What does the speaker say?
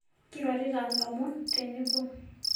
Keirorita lomon teboo